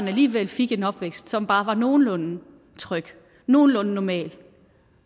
alligevel fik en opvækst som bare var nogenlunde tryg nogenlunde normal